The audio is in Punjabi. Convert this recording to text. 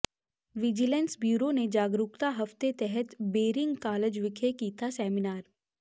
ਵਿਜੀਲੈਂਸ ਬਿਓਰੋ ਨੇ ਜਾਗਰੂਕਤਾ ਹਫ਼ਤੇ ਤਹਿਤ ਬੇਰਿੰਗ ਕਾਲਜ ਵਿਖੇ ਕੀਤਾ ਸੈਮੀਨਾਰ